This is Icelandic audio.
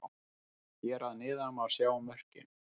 Hér að neðan má sjá mörkin: